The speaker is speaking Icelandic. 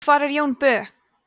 hvar er jón bö